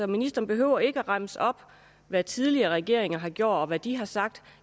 ministeren behøver ikke at remse op hvad tidligere regeringer har gjort og hvad de har sagt